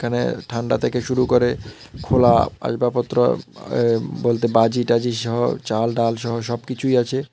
এখানে ঠান্ডা থেকে শুরু করে খোলা আসবাবপত্র এ্য বলতে বাজিটাজি সহ চাল ডাল সহ সবকিছুই আছে।